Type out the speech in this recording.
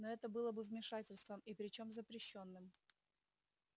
но это было бы вмешательством и причём запрещённым